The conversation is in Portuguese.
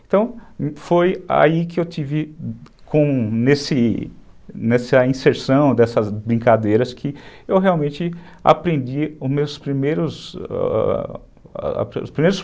Então, foi aí que eu tive, nesse nessa inserção dessas brincadeiras, que eu realmente aprendi os meus primeiros ãh ... os primeiros...